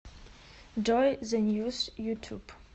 джой зэ ньюс ютуб